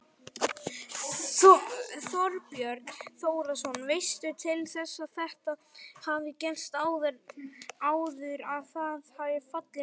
Þorbjörn Þórðarson: Veistu til þess að þetta hafi gerst áður, að það hafi fallið niður?